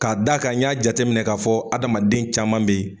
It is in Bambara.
Ka d'a kan n y'a jateminɛ k'a fɔ adamaden caman bɛ yen.